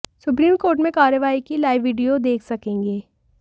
supreme court में कार्यवाही की लाइव वीडियो देख सकेंगे